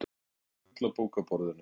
Víðáttumikil fuglabók á borðinu.